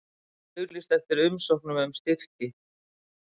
Auglýst eftir umsóknum um styrki